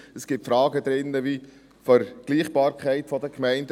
Es gibt Fragen zur Vergleichbarkeit der Gemeinden.